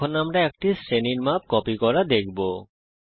এরপর আমরা একটি শ্রেণীর মান কপি করা দেখব